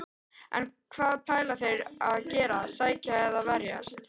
En hvað ætla þeir að gera, sækja eða verjast?